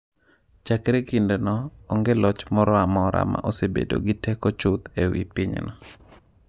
Chakre kindeno, onge loch moro amora ma osebedo gi teko chuth e wi pinyno.